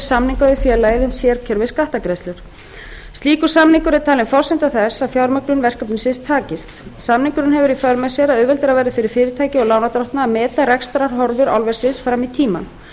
samninga við félagið um sérkjör við skattgreiðslur slíkur samningur er talin forsenda þess að fjármögnun verkefnisins takist samningurinn hefur í för með sér að auðveldara verður fyrir fyrirtækið og lánardrottna að meta rekstrarhorfur álversins fram í tímann